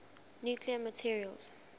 nuclear materials